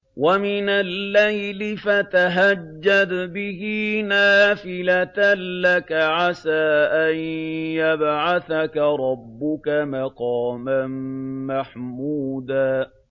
وَمِنَ اللَّيْلِ فَتَهَجَّدْ بِهِ نَافِلَةً لَّكَ عَسَىٰ أَن يَبْعَثَكَ رَبُّكَ مَقَامًا مَّحْمُودًا